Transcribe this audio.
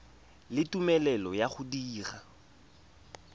le tumelelo ya go dira